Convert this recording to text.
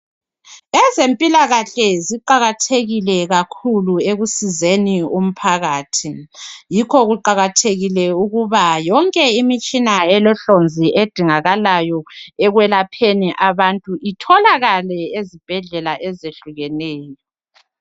Ezempilakahle ziqakathekile kakhulu ekusizeni umphakathi yikho kuqakathekile ukuba yonke imitshina elohlonzi edingakalayo ekwelapheni abantu itholakale ezibhedlela ezehlukeneyo.